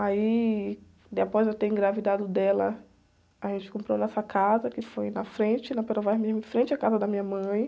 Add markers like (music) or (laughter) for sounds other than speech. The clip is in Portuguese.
Aí, depois de eu ter engravidado dela, a gente comprou nessa casa, que foi na frente, na (unintelligible) mesmo, em frente da casa da minha mãe.